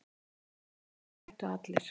Þannig að þeir hættu allir.